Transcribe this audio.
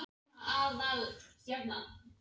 Þarna var einn sem var ekki ósvipaður Týra.